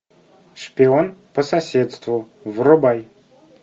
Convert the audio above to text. шпион по соседству врубай